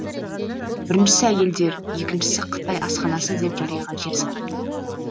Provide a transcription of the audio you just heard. біріншісі әйелдер екіншісі қытай асханасы деп жарияға жар салыпты